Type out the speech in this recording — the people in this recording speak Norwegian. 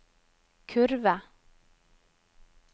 kurve